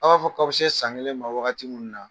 A b'a fɔ k'a bi se san kelen ma wagati minnu na